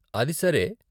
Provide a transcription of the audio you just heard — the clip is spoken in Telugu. అది సరే.